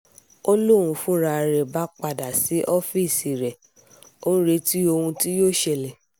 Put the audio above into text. ń lóun fúnra rẹ̀ bá padà sí ọ́ọ́fíìsì rẹ̀ ó ń retí ohun tí yóò ṣẹlẹ̀